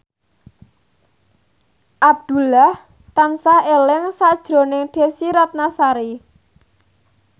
Abdullah tansah eling sakjroning Desy Ratnasari